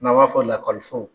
N'an b'a fɔ lakɔliso.